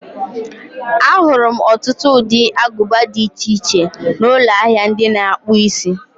Ahụrụ m ọtụtụ ụdị aguba di iche iche n'ụlọ ahịa ndị na-akpụ isi.